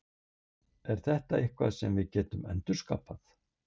Er þetta eitthvað sem við getum endurskapað?